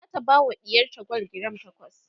zata bawa ɗiyarta gwal giram takwas